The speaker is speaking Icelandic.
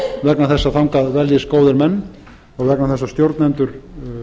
vegna þess að þangað veljist góðir menn og vegna þess að stjórnendur